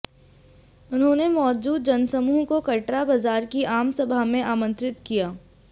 उन्होंने मौजूद जनसमूह को कटरा बाजार की आम सभा में आमंत्रित किया